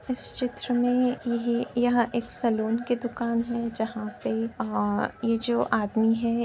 इस चित्र में यह यहाँ एक सैलून की दुकान है जहां पे ये जो आदमी है --